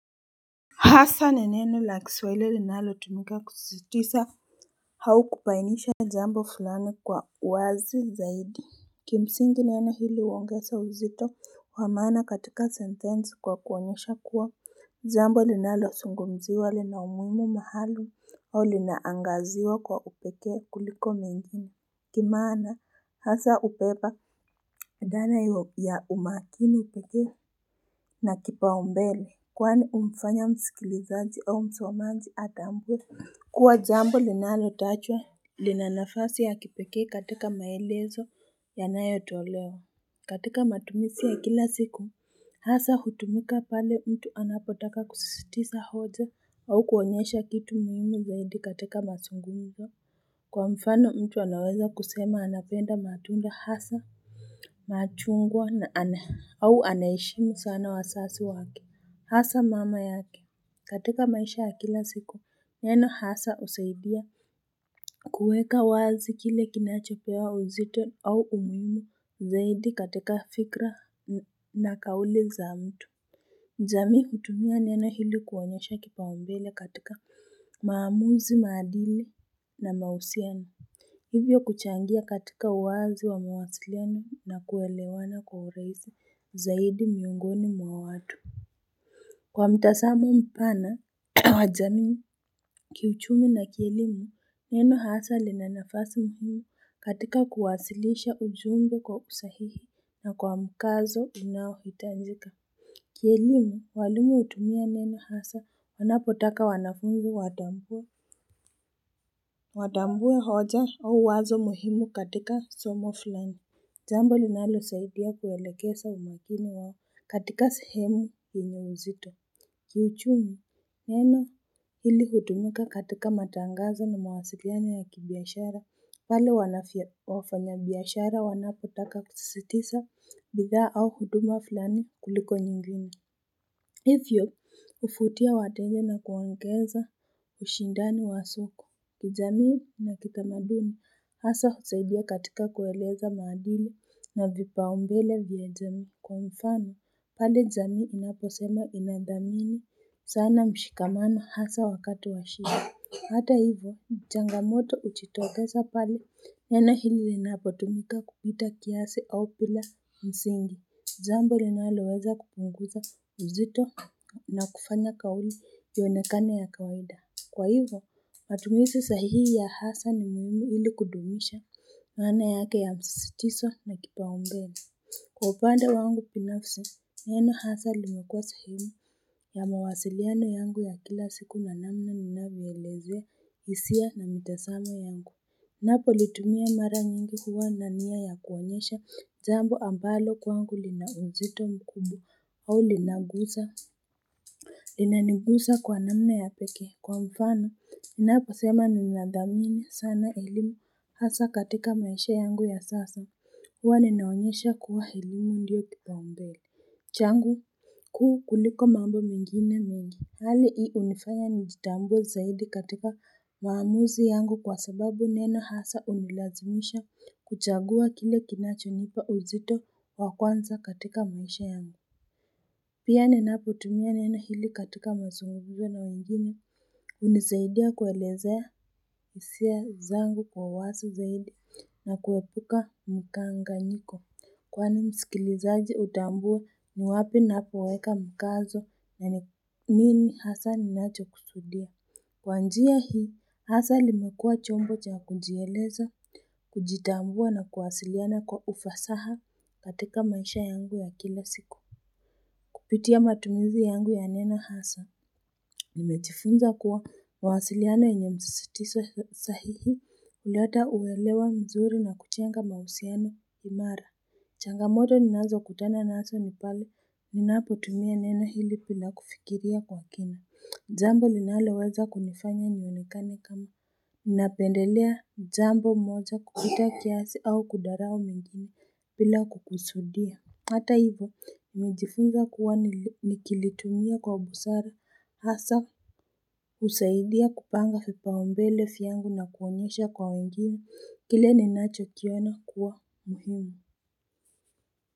Hasa nineno la kiswaili linalo tumika kusisitiza au kubainisha jambo fulani kwa wazi zaidi kimsingi neno hili huongeza uzito wamana katika sentenzi kwa kuonyesha kuwa jambo linalo zungumziwa linaumuhimu mahali au linaangaziwa kwa upeke kuliko mingine kimana hasa ubeba dhana ya umakini peke na kipaombele Kwani humfanya msikilizanzi au msomanji hatambue. Kuwa jambo linalo tajwa. Lina nafasi ya kipeke katika maelezo yanayo tolewa. Katika matumisi ya kila siku. Hasa hutumika pale mtu anapotaka kusisitiza hoja. Au kuonesha kitu muhimu zaindi katika mazungumzo. Kwa mfano mtu anaweza kusema anapenda matunda hasa. Machungwa na ana au anaheshimu sana wazazi wake. Hasa mama yake katika maisha ya kila siku neno hasa husaidia kuweka wazi kile kinachapewa uzito au umuhimu zaidi katika fikra na kauli za mtu jami hutumia neno hili kuonyesha kipaombele katika maamuzi madili na mahusiano hivyo kuchangia katika uwazi wa mawasiliano na kuelewana kwa urahisi zaidi miungoni mwa watu Kwa mtazamo mpana wajami kiuchumi na kielimu neno hasa linab nafasi muhimu katika kuwasilisha ujumbe kwa usahihi na kwa mkazo unao hitajika Kielimu walimu hutumia neno hasa wanapotaka wanafunzi watambue Watambue hoja au wazo muhimu katika somo fulani jambo linalo saidia kuwelekeza umakini wao katika sehemu yenyeuzito Kiuchumi neno hili hutumika katika matangazo na mawasiriano ya kibiashara wale wafanya biashara wanapotaka kutisisitiza bidhaa au huduma filani kuliko nyingine Hivyo huvutia watenja na kuwaongeza ushindani wa soko kijamii na kitamaduni hasa husaidia katika kueleza madili na vipaumbele vya jamii kwa mfano pale jamii inaposema inadhamini sana mshikamano hasa wakati wa shida. Hata hivyo, changamoto uchitokeza pale neo hili linapotumika kupita kiasi au bila msingi. Jambo linaloweza kupunguza uzito na kufanya kauli iyonekane ya kawaida. Kwa hivo, matumizi sahihi ya hasa ni muhimu hili kudumisha maana yake ya msisitizo na kipaombele. Kwa upande wangu binafsi, neno hasa limekua sehemu ya mawasiliano yangu ya kila siku namnana ninavyoelezea hisia na mitasamo yangu. Napo litumia mara nyingi huwa nania ya kuonyesha jambo ambalo kwangu linaunzito mkumbwa au linaguza. Linaniguza kwa namna ya peke kwa mfano. Ninapo sema nina dhamini sana elimu hasa katika maisha yangu ya sasa. Hwa ninaonyesha kuwa elimu ndiyo kipao mbele. Changu ku kuliko mambo mengine mengi. Hali hii hunifanya nijitambue zaidi katika maamuzi yangu kwa sababu neno hasa hunilazimisha kuchagua kile kinachonipa uzito wakwanza katika maisha yangu. Pia ninapotumia neno hili katika mazungumzo na wengine hunisaidia kuelezea hisia zangu kwa wazi zaidi na kuepuka mkanganyiko. Kwani msikilizaji hutambua niwapi napoweka mkazo na nini hasa ni nacho kusudia. Kwa njia hii, hasa limekua chombo cha kujieleza, kujitambua na kuwasiliana kwa ufasaha katika maisha yangu ya kila siku. Kupitia matumizi yangu ya neno hasa. Nimejifunza kuwa mawasiliano yenye msisitizo sahihi huleta uwelewa mzuri na kujenga mahusiano imara. Changamoto ninazo kutana nazo ni pale, ninapo tumia neno hili bila kufikiria kwa kina, jambo linaleweza kunifanya nionekane kama Ninapendelea jambo moja kupita kiasi au kutharao mengine bila kukusudia Hata hivo, nilijifunza kuwa nikilitumia kwa busara, hasa husaidia kupanga vipaombele vyangu na kuonyesha kwa wengine, kile ninacho kiona kuwa muhimu.